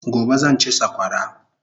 Gobe zan chi sakwara